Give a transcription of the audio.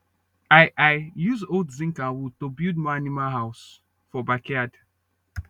i i use old zince and wood to build more animal house for backyard